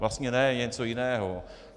Vlastně ne, něco jiného.